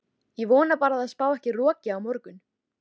Ég vona bara að það spái ekki roki á morgun.